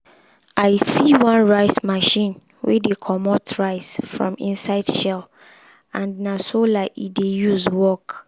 we put two type um of tomato side by side check which one um dey bring um better harvest pass.